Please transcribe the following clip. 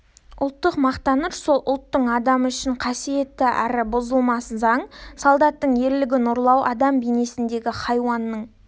ұлттық мақтаныш сол ұлттың адамы үшін қасиетті әрі бұзылмас заң солдаттың ерлігін ұрлау адам бейнесіндегі хайуанның